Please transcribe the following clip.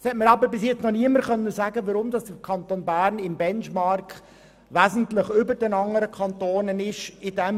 Es hat uns bisher jedoch noch niemand sagen können, weshalb sich der Kanton Bern in diesem Bereich im Benchmark wesentlich über den anderen Kantonen befindet.